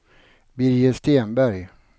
Birger Stenberg